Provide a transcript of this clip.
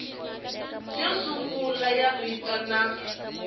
yo sungula ya vito na